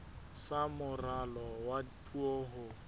sa moralo wa puo ho